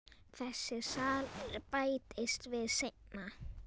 Þessi salur bættist við seinna.